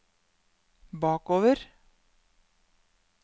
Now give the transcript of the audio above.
bakover